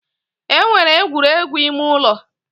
E nwere egwuregwu ime ụlọ